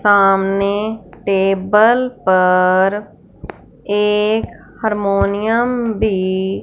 सामने टेबल पर एक हारमोनियम भी--